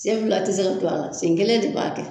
Sen fila ti se ka don a la, sen kelen de b'a kɛ